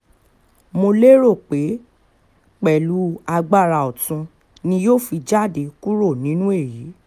mo lérò pé pẹ̀lú agbára ọ̀tún ni yóò fi jáde kúrò nínú èyí